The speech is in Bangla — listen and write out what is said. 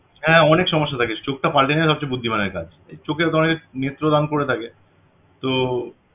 হ্যাঁ অনেক সমস্যা থাকে চোখটা পালটে নেয়া সবচেয়ে বুদ্ধিমানের কাজ চোখের অনেকে নেত্রদান করে থাকে তো